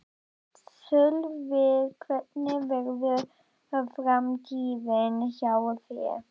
Sölvi: Hvernig verður framtíðin hjá þér?